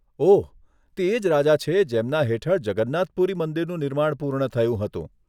ઓહ, તે એ જ રાજા છે જેમના હેઠળ જગન્નાથ પુરી મંદિરનું નિર્માણ પૂર્ણ થયું હતું.